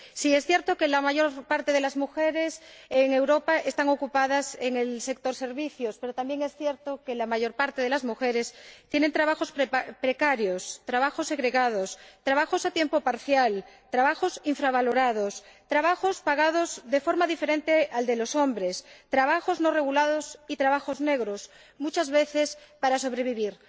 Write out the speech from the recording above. Sí, es cierto que la mayor parte de las mujeres en Europa están empleadas en el sector de los servicios, pero también es cierto que la mayor parte de las mujeres tienen trabajos precarios, trabajos segregados, trabajos a tiempo parcial, trabajos infravalorados, trabajos pagados de forma diferente de la de los hombres, trabajos no regulados y trabajos negros, muchas veces para sobrevivir.